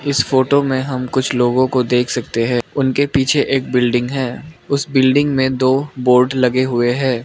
इस फोटो में हम कुछ लोगों को देख सकते हैं उनके पीछे एक बिल्डिंग है उस बिल्डिंग में दो बोर्ड लगे हुए हैं।